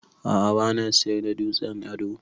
A'a bana siyar da dutsen ado.